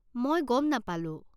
মই গম নাপালো।